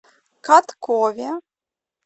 каткове